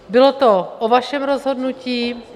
Bylo to o vašem rozhodnutí.